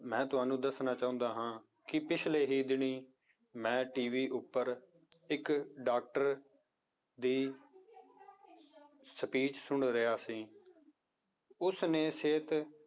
ਮੈਂ ਤੁਹਾਨੂੰ ਦੱਸਣਾ ਚਾਹੁੰਦਾ ਹਾਂ ਕਿ ਪਿੱਛਲੇ ਹੀ ਦਿਨੀ ਮੈਂ TV ਉੱਪਰ ਇੱਕ doctor ਦੀ speech ਸੁਣ ਰਿਹਾ ਸੀ ਉਸਨੇ ਸਿਹਤ